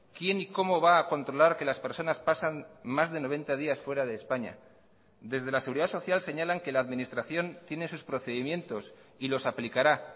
quién y cómo va a controlar que las personas pasan más de noventa días fuera de españa desde la seguridad social señalan que la administración tiene sus procedimientos y los aplicará